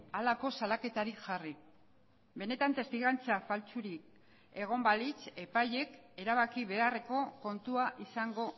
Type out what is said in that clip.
halako salaketarik jarri benetan testigantza faltsurik egon balitz epaileek erabaki beharreko kontua izango